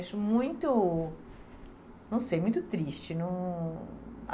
Acho muito, não sei, muito triste. Num